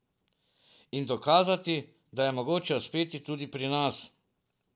In dokazati, da je mogoče uspeti tudi pri nas.